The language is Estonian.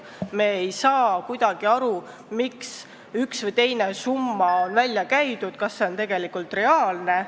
Me ei saa kuidagi aru, miks üks või teine summa on välja käidud, kas need on tegelikult reaalsed.